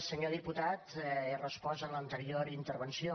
senyor diputat he respost en l’anterior intervenció